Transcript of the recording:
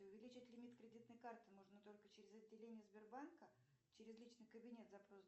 увеличить лимит кредитной карты можно только через отделение сбербанка через личный кабинет запрос